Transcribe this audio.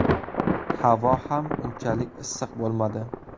Havo ham unchalik issiq bo‘lmadi.